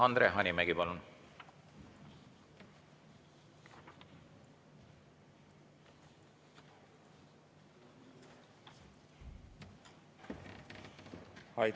Andre Hanimägi, palun!